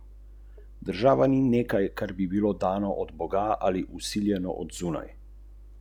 V duhu prijateljstva danes v Kranjski Gori dom starejših Viharnik organizira tudi Sejem treh dežel.